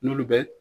N'olu bɛ